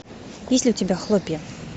есть ли у тебя хлопья